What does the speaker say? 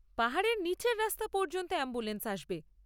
পাহাড়ের নীচের রাস্তা পর্যন্ত অ্যাম্বুলেন্স আসবে।